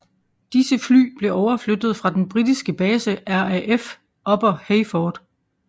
Disse fly blev overflyttet fra den britiske base RAF Upper Heyford